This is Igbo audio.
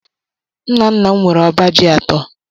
Nna nna m nwere ọba ji atọ.